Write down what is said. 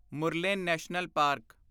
Murlen national park